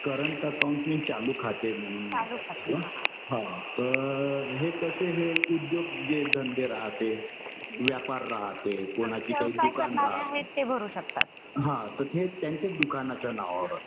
Current account हे चालू खाते म्हणून हा. तर हे कसे हे उद्योग जे धंदे राहते, व्यापार राहते. कुणाची काही दुकान राहते. हा तर ते त्यांच्या दुकानाच्या नावावर.